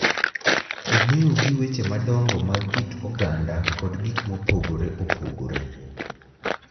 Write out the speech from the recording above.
Omeo gi weche madongo mag kit oganda kod gik mopogore opogore,